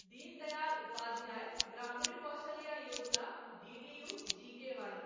Deen Dayal Upadhyaya Grameen Kaushalya Yojana DDU GKY